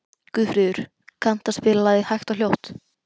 Guðfríður, kanntu að spila lagið „Hægt og hljótt“?